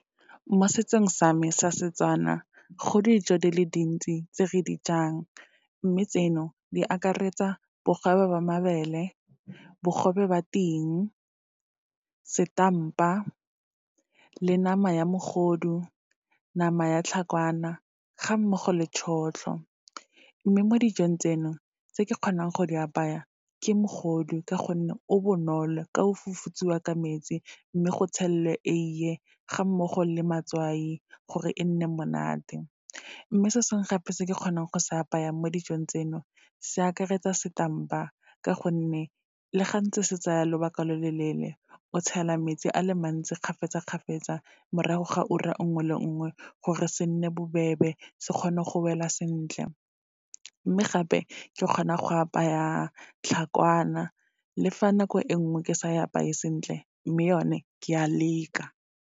Mo setsong sa me sa Setswana, go dijo di le dintsi tse re di jang, mme tseno di akaretsa bogobe ba mabele, bogobe ba ting, setampa, le nama ya mogodu, nama ya tlhakwana, ga mmogo le tšhotlho. Mme mo dijong tseno, tse ke kgonang go di apaya ke mogodu, ka gonne o bonolo ka o fufutsiwa ka metsi, mme go tshelwe eie, ga mmogo le matswai, gore e nne monate. Mme se sengwe gape, se ke kgonang go se apaya mo dijong tseno, se akaretsa setampa, ka gonne le ga ntse se tsaya lobaka lo loleele, o tshela metsi a le mantsi, kgafetsa-kgafetsa morago ga ura nngwe le nngwe, gore se nne bobebe se kgone go wela sentle. Mme gape, ke kgona go apaya tlhakwana, le fa nako e nngwe ke sa e apaye sentle, mme yone ke a leka.